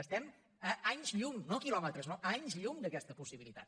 estem a anys llum no a quilòmetres no a anys llum d’aquesta possibilitat